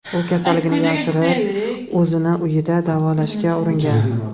U kasalligini yashirib, o‘zini uyda davolashga uringan.